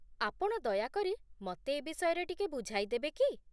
ଆପଣ ଦୟାକରି ମତେ ଏ ବିଷୟରେ ଟିକେ ବୁଝାଇ ଦେବେ କି ?